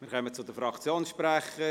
Wir kommen zu den Fraktionssprechern.